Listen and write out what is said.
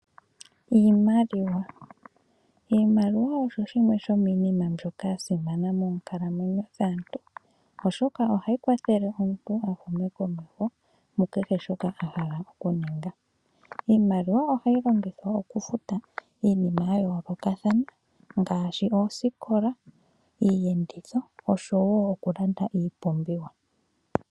Iimaliwa, iimaliwa osho shimwe shomiinima mbyoka yasimana moonkalamwenyo dhaantu , oshoka ohayi kwathele omuntu a hume komeho mukehe shoka a hala okuninga. Iimaliwa ohayi longithwa okufuta iinima ya yoolokathana ngaashi oosikola, iiyenditho oshowo okulanda ipumbiwa.